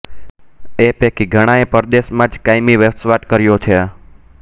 એ પૈકી ઘણાએ પરદેશમાં જ કાયમી વસવાટ કર્યો છે